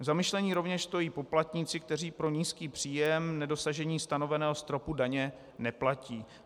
Za zamyšlení rovněž stojí poplatníci, kteří pro nízký příjem nedosažení stanoveného stropu daně neplatí.